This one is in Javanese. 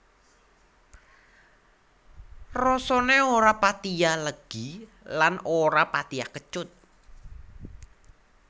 Rasané ora patiya legi lan ora patiya kecut